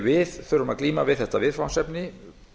við þurfum að glíma við þetta viðfangsefni